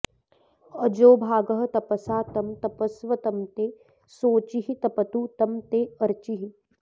अ॒जोऽभा॒गस्तप॑सा॒ तं त॑पस्व॒ तं ते॑ शो॒चिस्त॑पतु॒ तं ते॑ अ॒र्चिः